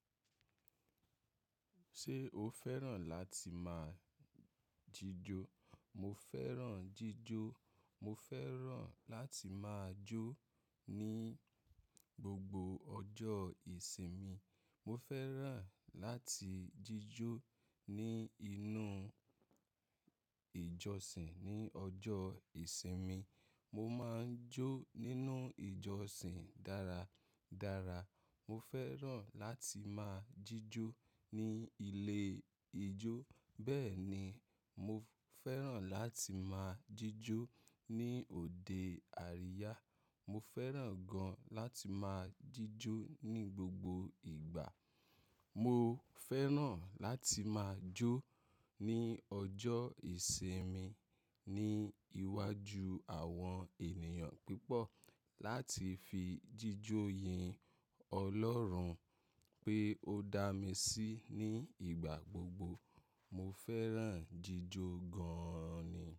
Ṣé o fẹ́ràn láti máa jíjó? Mo fẹ́ràn jíjó. Mo fẹ́ràn láti máa jó ní gbogbo ọjọ́ ìsinmi. Mo fẹ́ràn láti jíjó ní inú ìjọsìn ní ọjọ́ ìsinmi. Mo máa ń jó nínú ìjọsìn dára dára. Mo fẹ́ràn láti máa jíjó ní ilé ijó. Bẹ́ẹ̀ ni, mo fẹ́ràn láti máa jíjó ní òde àríyá. Mo fẹ́ràn gan láti máa jíjó ní gbogbo ìgbà. Mo fẹ́ràn láti máa jó ní ọjọ́ ìsinmi ní iwájú àwọn ènìyàn pípọ̀ láti fi jíjó yin Ọlọ́run pé ó dá mi sí ní ìgbà gbogbo. Mo fẹ́ràn jíjó gan-an ni.